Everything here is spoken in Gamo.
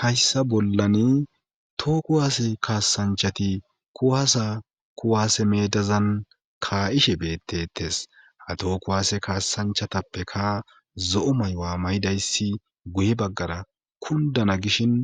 hayssa bollani tooku haase kaasanchati kuwaasa kuwaase medazan kaa7ishe beettetes ha tooku waase kaasanchatappeka zo7o maywa mayidayssi guye baggara kundana gishin